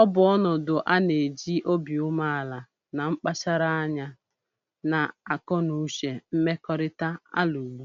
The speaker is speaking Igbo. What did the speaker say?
ọ bụ ọnọdụ a na-eji obi umeala na mkpacharanya, na akọnuche mmekọrịta alụgbu